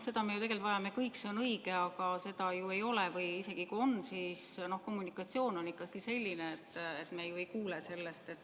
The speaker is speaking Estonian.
Seda me tegelikult vajame kõik, see on õige, aga seda ju ei ole, või isegi kui on, siis kommunikatsioon on ikkagi selline, et me ju ei kuule sellest.